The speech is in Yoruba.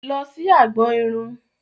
Lọ sí agbọn irun!